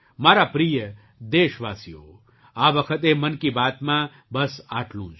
મારા પ્રિય દેશવાસીઓ આ વખતે મન કી બાતમાં બસ આટલું જ